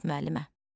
Dünən olub, müəllimə.